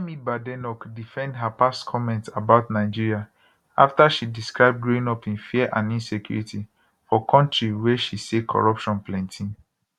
kemi badenoch defend her past comments about nigeria afta she describe growing up in fear and insecurity for kontri wia she say corruption plenti